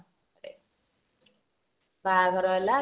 ବାହାଘର ହେଲା